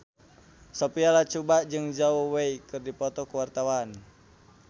Sophia Latjuba jeung Zhao Wei keur dipoto ku wartawan